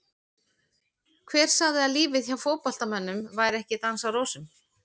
Hver sagði að lífið hjá fótboltamönnum væri ekki dans á rósum?